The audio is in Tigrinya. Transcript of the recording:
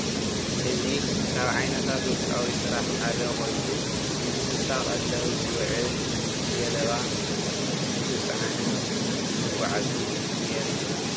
እዚ ካብ ዓይነታት ውልቃዊ ስራሕ ሓደ ኾይኑ ንእንስሳ ቀለብ ዝውዕል ቀለብ ገለባ እንትፀዓንን እንትጓዓዝን የርኢ ።